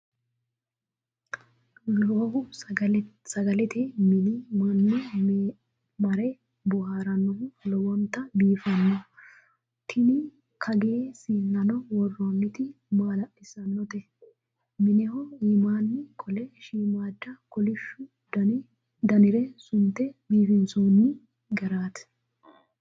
Lowohu sagalete minni mannu mare booharannohu lowonta biifino. Tini kagee siinnano worrooniti maala'lissanote! Mineho iimmanni qolle shiimmada kolishu danire sunte biifinsoonni gari!